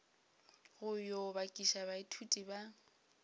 go yo bakiša baithuti ba